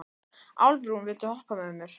Álfrún, viltu hoppa með mér?